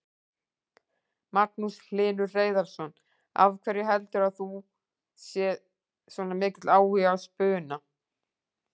Magnús Hlynur Hreiðarsson: Af hverju heldur þú að sé svona mikill áhugi á spuna?